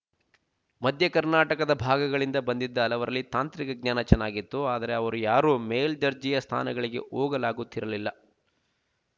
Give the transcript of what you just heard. ಮಧ್ಯ ಕರ್ನಾಟಕದ ಭಾಗಗಳಿಂದ ಬಂದಿದ್ದ ಹಲವರಲ್ಲಿ ತಾಂತ್ರಿಕ ಜ್ಞಾನ ಚನ್ನಾಗಿತ್ತು ಆದರೆ ಅವರು ಯಾರೂ ಮೇಲ್ದರ್ಜೆಯ ಸ್ಥಾನಗಳಿಗೆ ಹೋಗಲಾಗುತ್ತಿರಲಿಲ್ಲ